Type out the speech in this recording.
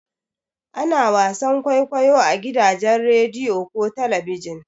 Ana wasan kwaikwayo a gidajen rediyo ko talabijin.